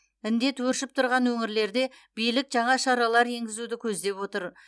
індет өршіп тұрған өңірлерде билік жаңа шаралар енгізуді көздеп отыр